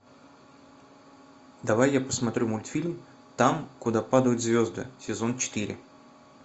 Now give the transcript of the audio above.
давай я посмотрю мультфильм там куда падают звезды сезон четыре